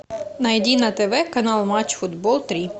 найди на тв канал матч футбол три